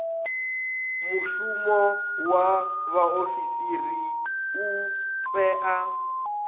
mushumo wa vhaofisiri u tea